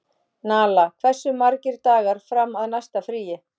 Nala, hversu margir dagar fram að næsta fríi?